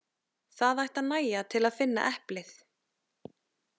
Það ætti að nægja til að finna eplið.